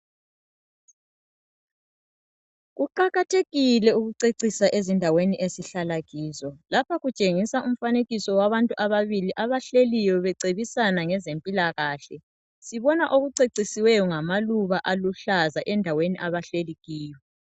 Kuqakathekile ukucecisa ezindaweni esihlala kizo lapha kutshengiswa abantu ababili abahleliyo becebisana ngezempilakahle sibona okucecisiweyo ngamaluba aluhlaza endaweni abahleli kiyo.